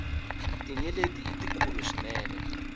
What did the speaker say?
tinyeleti i tikulu swinene